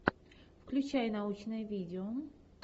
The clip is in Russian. включай научное видео